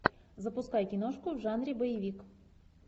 запускай киношку в жанре боевик